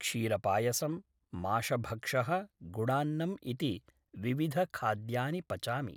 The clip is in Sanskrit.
क्षीरपायसं माशभक्षः गुडान्नम् इति विविधखाद्यानि पचामि